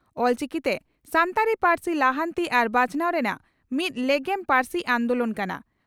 ᱚᱞᱪᱤᱠᱤᱛᱮ ᱥᱟᱱᱛᱟᱲᱤ ᱯᱟᱹᱨᱥᱤ ᱞᱟᱦᱟᱱᱛᱤ ᱟᱨ ᱵᱟᱧᱪᱟᱣ ᱨᱮᱱᱟᱜ ᱢᱤᱫ ᱞᱮᱜᱮᱢ ᱯᱟᱹᱨᱥᱤ ᱟᱱᱫᱚᱞᱚᱱ ᱠᱟᱱᱟ ᱾